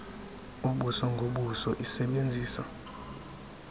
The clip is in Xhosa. ubuso ngobuso isebenzisa